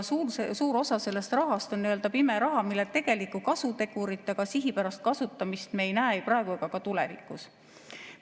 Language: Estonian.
Suur osa sellest rahast on nii-öelda pime raha, mille tegelikku kasutegurit ega sihipärast kasutamist me ei näe ei praegu ega ka tulevikus.